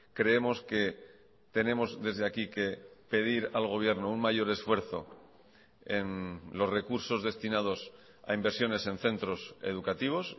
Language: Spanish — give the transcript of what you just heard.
creemos que tenemos desde aquí que pedir al gobierno un mayor esfuerzo en los recursos destinados a inversiones en centros educativos